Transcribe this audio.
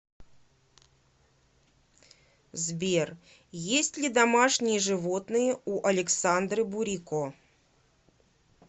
сбер есть ли домашние животные у александры бурико